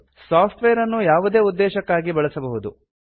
soft wear ನ್ನು ಯಾವುದೇ ಉದ್ದೇಶಕ್ಕಾಗಿ ಬಳಸಬಹುದು